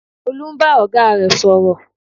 Olú ń bá ọ̀gá rẹ̀ sọ̀rọ̀